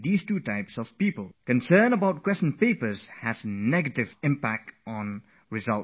Those who are tense and worry about what kind of questions will be asked, end up having a negative impact on their results as well